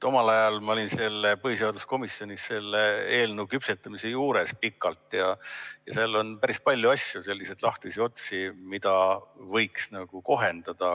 Omal ajal ma olin põhiseaduskomisjonis selle eelnõu küpsetamise juures pikalt ja seal on päris palju asju, selliseid lahtisi otsi, mida võiks kohendada.